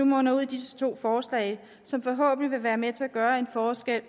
munder nu ud i disse to forslag som forhåbentlig vil være med til at gøre en forskel